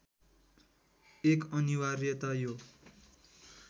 एक अनिवार्यता यो